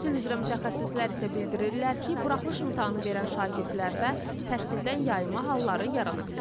Təhsil üzrə mütəxəssislər isə bildirirlər ki, buraxılış imtahanı verən şagirdlərdə təhsildən yayınma halları yarana bilir.